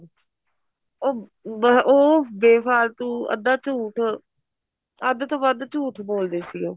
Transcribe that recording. ਉਹ ਅਹ ਉਹ ਬੇ ਫਾਲਤੂ ਅੱਧਾ ਝੂਠ ਅੱਧ ਤੋਂ ਵੱਧ ਝੂਠ ਬੋਲਦੇ ਸੀ ਉਹ